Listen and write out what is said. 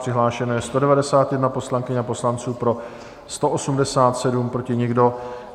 Přihlášeno je 191 poslankyň a poslanců, pro 187, proti nikdo.